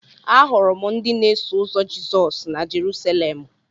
Ahụrụ m ndị na-eso ụzọ Jizọs na Jerusalemụ.